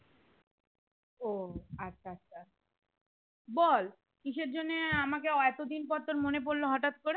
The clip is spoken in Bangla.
ও আচ্ছা আচ্ছা বল কিসের জন্যে আমাকে এতো দিন পর তোর মনে পড়লো হঠাৎ করে